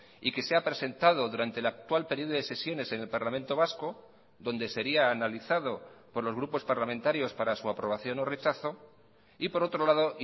y que sea presentado durante el actual periodo de sesiones en el parlamento vasco donde sería analizado por los grupos parlamentarios para su aprobación o rechazo y por otro lado